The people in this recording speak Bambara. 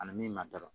Ani min ma da